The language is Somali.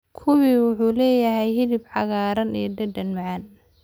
Kiwi wuxuu leeyahay hilib cagaaran iyo dhadhan macaan.